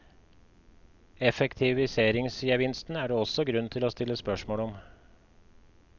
Effektiviseringsgevinsten er det også grunn til å stille spørsmål om.